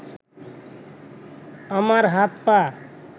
আমার হাত-পা